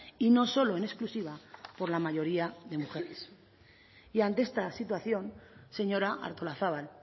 y no solo en exclusiva por la mayoría de mujeres y ante esta situación señora artolazabal